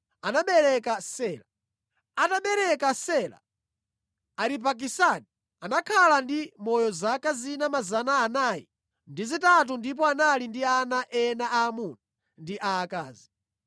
Atabereka Sela, Aripakisadi anakhala ndi moyo zaka zina 403 ndipo anali ndi ana ena aamuna ndi aakazi.